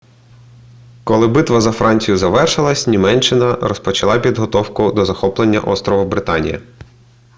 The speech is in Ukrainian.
коли битва за францію завершилася німеччина розпочала підготовку до захоплення острову британія